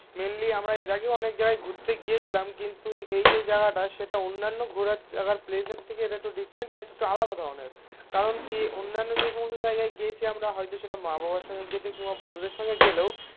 Mainly আমরা এর আগেও অনেক জায়গায় ঘুরতে গিয়েছিলাম. কিন্তু এই যে জায়গাটা সেটা অন্যান্য ঘোরার জায়গার প্লেস এর থেকে এটা একটু ডিফারেন্ট আর একটু আলাদা ধরনের. কারণ কি অন্যান্য যে সমস্ত জায়গায় গিয়েছি আমরা হয়তো সেটা মা বাবার সঙ্গে গিয়ে দেখি কিংবা বন্ধুদের সঙ্গে গেলেও